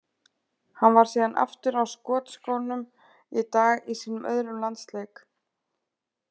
Hann var síðan aftur á skotskónum í dag í sínum öðrum landsleik.